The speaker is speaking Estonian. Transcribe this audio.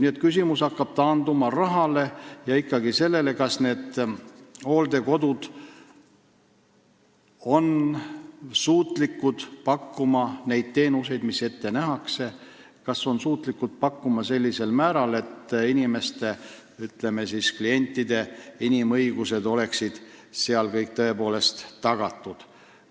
Nii et küsimus taandub ikkagi rahale ja sellele, kas hooldekodud on suutelised pakkuma neid teenuseid, mis on ette nähtud, või kas nad suudavad neid pakkuda sellisel määral, et klientide inimõigused oleksid tõepoolest tagatud.